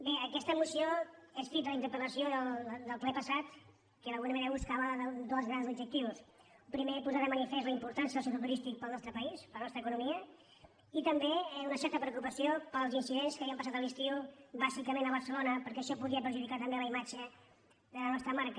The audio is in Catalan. bé aquesta moció és fruit de la interpel·lació del ple passat que d’alguna manera buscava dos grans objectius primer posar de manifest la importància del sector turístic per al nos·tre país per a la nostra economia i també una certa preocupació pels incidents que havien passat a l’estiu bàsicament a barcelona perquè això podia perjudicar també la imatge de la nostra marca